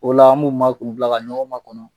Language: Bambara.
O la an b'u ma k'u bila ka ɲɔgɔn ma kɔnɔ.